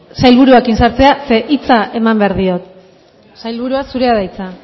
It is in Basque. sailburuarekin sartzea ze hitza eman behar diot sailburua zurea da hitza